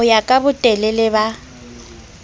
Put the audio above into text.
ho ya ka botelele ba